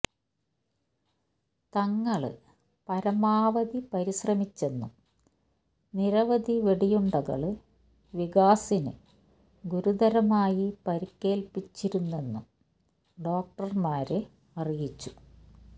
തങ്ങള് പരമാവധി പരിശ്രമിച്ചെന്നും നിരവധി വെടിയുണ്ടകള് വികാസിന് ഗുരുതരമായി പരുക്കേൽപ്പിച്ചിരുന്നെന്നും ഡോക്ടര്മാര് അറിയിച്ചു